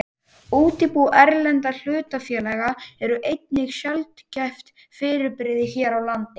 Útibú erlendra hlutafélaga eru einnig sjaldgæft fyrirbrigði hér á landi.